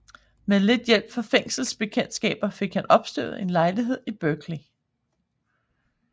Med lidt hjælp fra fængselsbekendtskaber fik han opstøvet en lejlighed i Berkeley